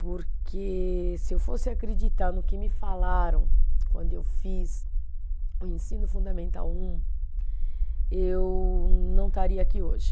Porque se eu fosse acreditar no que me falaram quando eu fiz o Ensino Fundamental um, eu não estaria aqui hoje.